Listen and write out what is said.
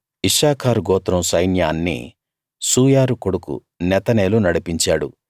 ఇశ్శాఖారు గోత్రం సైన్యాన్ని సూయారు కొడుకు నెతనేలు నడిపించాడు